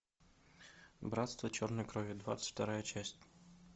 братство черной крови двадцать вторая часть